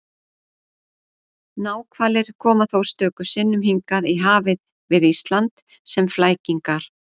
náhvalir koma þó stöku sinnum hingað í hafið við ísland sem flækingar